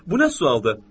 Bu nə sualdı?